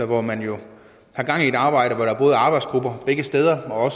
hvor man jo har gang i et arbejde med at have arbejdsgrupper begge steder og